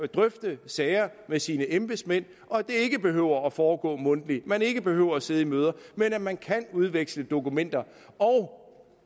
drøfte sager med sine embedsmænd og at det ikke behøver at foregå mundtligt og at man ikke behøver at sidde i møder men at man kan udveksle dokumenter og